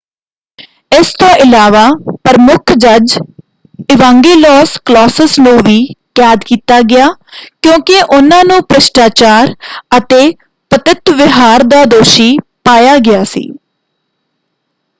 ਇਸ ਤੋਂ ਇਲਾਵਾ ਪ੍ਰਮੁੱਖ ਜੱਜ ਇਵਾਂਗੇਲੋਸ ਕਲੌਸਿਸ ਨੂੰ ਵੀ ਕੈਦ ਕੀਤਾ ਗਿਆ ਕਿਉਂਕਿ ਉਹਨਾਂ ਨੂੰ ਭ੍ਰਿਸ਼ਟਾਚਾਰ ਅਤੇ ਪਤਿਤ ਵਿਹਾਰ ਦਾ ਦੋਸ਼ੀ ਪਾਇਆ ਗਿਆ ਸੀ।